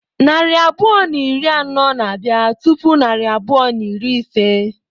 Narị abụọ na iri anọ na bia tupu narị abụọ na iri ise.